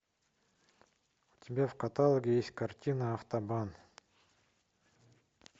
у тебя в каталоге есть картина автобан